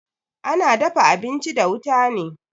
Ana dafa abinchi da wuta ne